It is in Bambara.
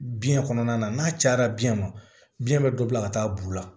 Biyɛn kɔnɔna na n'a cayara biyɛn ma biyɛn bɛ dɔ bila ka taa bu la